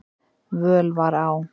völ var á.